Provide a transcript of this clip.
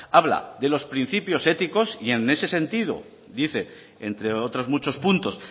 habla de los principios éticos en ese sentido dice entre otros muchos puntos